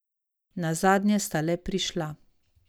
Nazadnje sta le prišla.